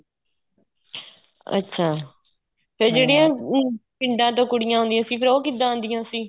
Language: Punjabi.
ਅੱਛਾ ਤੇ ਜਿਹੜੀਆਂ ਪਿੰਡਾਂ ਤੋਂ ਕੁੜੀਆਂ ਆਉਦੀਆਂ ਸੀ ਫ਼ੇਰ ਉਹ ਕਿੱਦਾਂ ਆਦੀਆਂ ਸੀ